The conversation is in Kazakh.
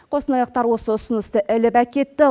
қостанайлықтар осы ұсынысты іліп әкетті